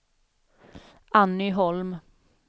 Anny Holm